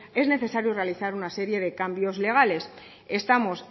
es necesario realizar una serie de cambios legales estamos